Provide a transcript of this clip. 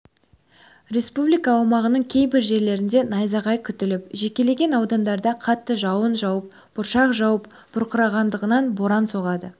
республика аумағының кейбір жерлерінде найзағай күтіліп жекелеген аудандарда қатты жауын жауып бұршақ жауып бұрқасындаған боран соғады